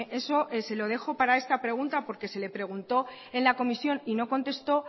eso se lo dejo para esta pregunta porque se le preguntó en la comisión y no contestó